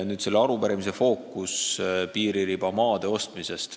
Nüüd, selle arupärimise fookus on piiririba jaoks vajalike maade ostmisel.